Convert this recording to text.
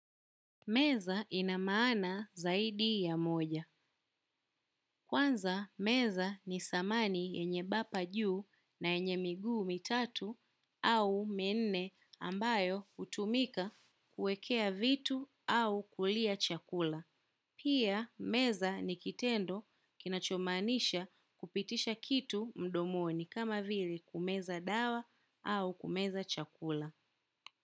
Meza ina maana zaidi ya moja. Kwanza meza ni samani yenye bapa juu na yenye miguu mitatu au minne ambayo hutumika kuwekea vitu au kulia chakula. Pia meza ni kitendo kinachomaanisha kupitisha kitu mdomoni kama vili kumeza dawa au kumeza chakula.